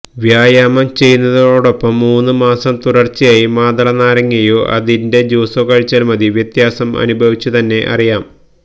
വ്യായാമം ചെയ്യുന്നതോടൊപ്പം മൂന്ന് മാസം തുടര്ച്ചയായി മാതള നാരങ്ങയോ അതിന്റെ ജ്യൂസോ കഴിച്ചാല് മതി വ്യത്യാസം അനുഭവിച്ചു തന്നെ അറിയാം